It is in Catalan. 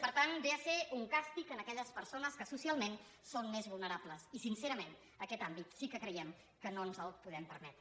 per tant ve a ser un càstig a aquelles persones que socialment són més vulnerables i sincerament aquet àmbit sí que creiem que no el podem permetre